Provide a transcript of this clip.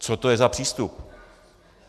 Co to je za přístup?